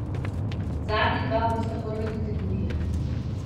Zadnja dva bosta prve kategorije.